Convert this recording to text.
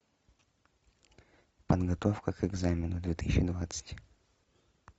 подготовка к экзамену две тысячи двадцать